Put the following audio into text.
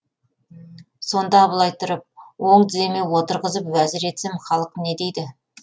сонда абылай тұрып оң тіземе отырғызып уәзір етсем халық не дейді